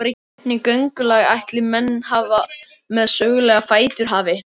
Hvernig göngulag ætli menn með sögulega fætur hafi?